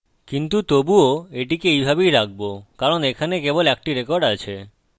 কিন্তু তবুও এটিকে এইভাবেই রাখবো কারণ এখানে কেবল একটি রেকর্ড আছে